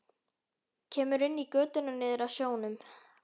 Kemur inn í götuna niður að sjónum.